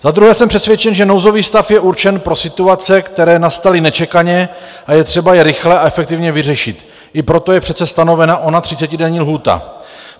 Za druhé jsem přesvědčen, že nouzový stav je určen pro situace, které nastaly nečekaně a je třeba je rychle a efektivně vyřešit, i proto je přece stanovena ona třicetidenní lhůta.